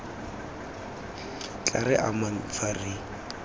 tla re amang fa re